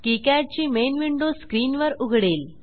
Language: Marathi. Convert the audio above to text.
किकाड ची मेन विंडो स्क्रीनवर उघडेल